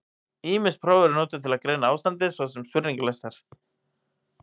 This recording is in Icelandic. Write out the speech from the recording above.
Ýmis próf eru notuð til að greina ástandið, svo og spurningalistar.